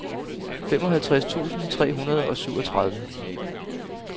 femoghalvtreds tusind tre hundrede og syvogtredive